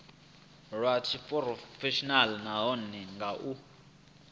lwa tshiphurofeshenaḽa nahone nga u